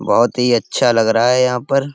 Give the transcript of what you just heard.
बहुत ही अच्छा लग रहा है यहाँ पर।